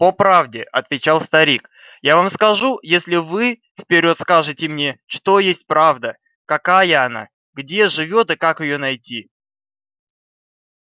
по правде отвечал старик я вам скажу если вы вперёд скажете мне что есть правда какая она где живёт и как её найти